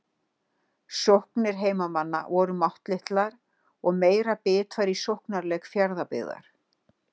Sóknir heimamanna voru máttlitlar og meiri bit var í sóknarleik Fjarðabyggðar.